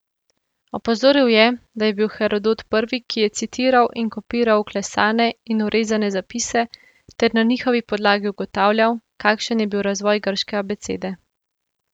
Opozoril je, da je bil Herodot prvi, ki je citiral in kopiral vklesane in vrezane zapise ter na njihovi podlagi ugotavljal, kakšen je bil razvoj grške abecede.